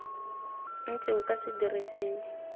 ntse o ka se dirisiwe